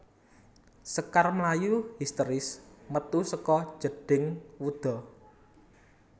Sekar mlayu histèris metu saka jedhing wuda